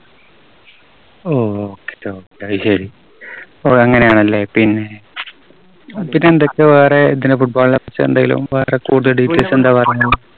ഓ Okay, Okay. അതുശരി. ഓ അങ്ങനെയാണല്ലേ. പിന്നെ എന്തൊക്കെയുണ്ട് ഇപ്പോ വേറെ ഇതിനെ football നെകുറിച്ച് എന്തെങ്കിലും വേറെ കൂടുതല് details എന്താ